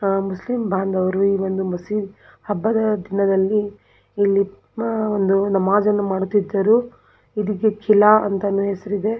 ಅಹ್ ಮುಸ್ಲಿಂಬಾಂದವರು ಈ ಒಂದು ಮಸಿ ಹಬ್ಬದ ದಿನದಲ್ಲಿ ನಮಾಜ್ ಅನ್ನು ಮಾಡುತ್ತಿದ್ದರು ಇದಕ್ಕೆ ಕಿಲ ಅಂತಾನೆ ಹೆಸರಿದೆ.